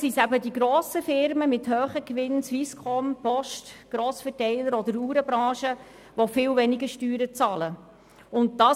Es sind vielmehr die grossen Firmen mit hohen Gewinnen wie die Swisscom, die Post, die Grossverteiler oder die Uhrenbranche, die viel weniger Steuern bezahlen werden.